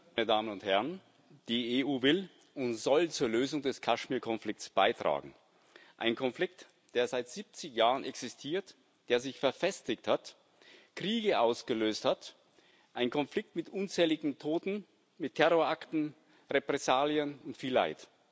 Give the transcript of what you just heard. Herr Präsident, meine Damen und Herren! Die EU will und soll zur Lösung des Kaschmirkonflikts beitragen ein Konflikt, der seit 70 Jahren existiert, der sich verfestigt hat, Kriege ausgelöst hat, ein Konflikt mit unzähligen Toten, mit Terrorakten, Repressalien und viel Leid.